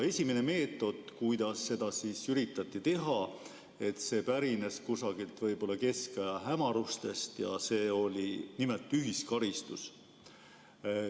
Esimene meetod, kuidas seda üritati teha, pärines kusagilt keskaja hämarusest ja see oli nimelt ühiskaristus.